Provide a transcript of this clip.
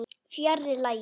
Fjarri lagi.